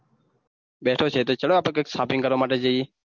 બેઠો છે તો ચલો આપ shopping કરવા માટે જાયે.